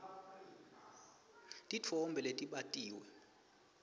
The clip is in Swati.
titfombe letbatiwe